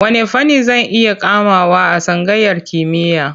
Wanne fanni zan iya komawa a tsangayar kimiyya?